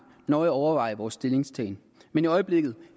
nøje overveje vores stillingtagen men i øjeblikket